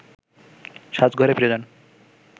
সাজঘরে ফিরে যান